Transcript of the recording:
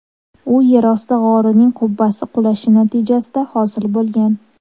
U yerosti g‘orining qubbasi qulashi natijasida hosil bo‘lgan.